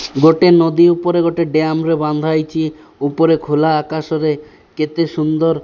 ଗୋଟେ ନଦୀ ଉପରେ ଗୋଟେ ଡ଼୍ୟାମ ରେ ବାନ୍ଧା ହେଇଚି ଉପରେ ଖୋଲା ଆକାଶ ରେ କେତେ ସୁନ୍ଦର।